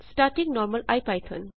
starting normal IPython